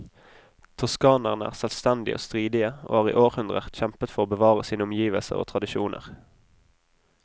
Toskanerne er selvstendige og stridige, og har i århundrer kjempet for å bevare sine omgivelser og tradisjoner.